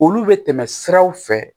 Olu bɛ tɛmɛ siraw fɛ